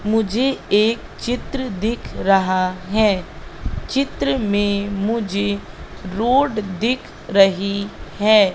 मुझे एक चित्र दिख रहा है। चित्र में मुझे रोड दिख रही है।